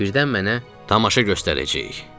Birdən mənə, tamaşa göstərəcəyik.